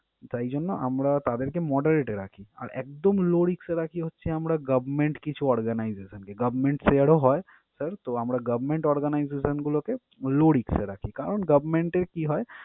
তাই জন্য আমরা তাদেরকে moderate এ রাখি। আর একদম low risk এ রাখি হচ্ছে আমরা government কিছু organization কে, government share ও হয়। Sir তো আমরা government organization গুলোকে low risk এ রাখি। কারণ government এ কী হয়?